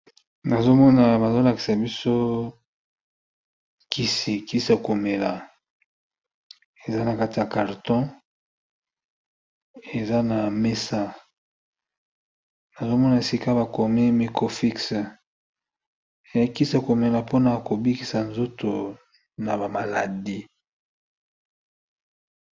Nazo mona bazo lakisa biso kisi, kisi ya komela eza na kati ya carton eza na mesa nazo mona esika bakomi microfix e kisi ya komela mpona ko bikisa nzoto na ba maladie.